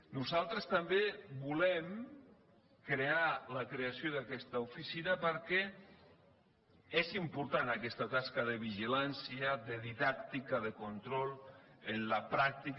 nosaltres també volem la creació d’aquesta oficina perquè és important aquesta tasca de vigilància de didàctica de control en la pràctica